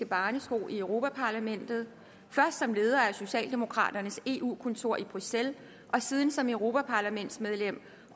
barnesko i europa parlamentet først som leder af socialdemokraternes eu kontor i bruxelles og siden som europaparlamentsmedlem